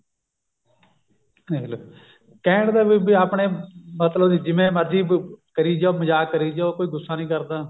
ਦੇਖਲਾ ਕਹਿਣ ਦਾ ਵੀ ਬੀ ਆਪਣੇ ਮਤਲਬ ਦੀ ਜਿਵੇਂ ਮਰਜੀ ਕਰੀ ਜਾਓ ਮਜਾਕ ਕਰੀ ਜਾਓ ਕੋਈ ਗੁੱਸਾ ਨਹੀਂ ਕਰਦਾ